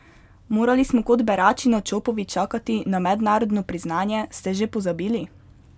Morali smo kot berači na Čopovi čakati na mednarodno priznanje, ste že pozabili?